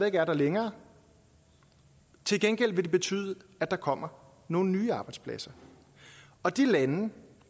ikke er der længere til gengæld vil det betyde at der kommer nogle nye arbejdspladser og de lande